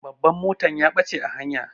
Babban motan ya ɓache a hanya.